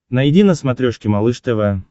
найди на смотрешке малыш тв